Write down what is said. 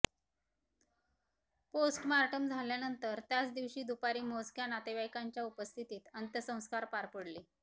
postmortem झाल्यानंतर त्याच दिवशी दुपारी मोजक्या नातेवाईकांच्या उपस्थितीत अंत्यसंस्कार पार पडले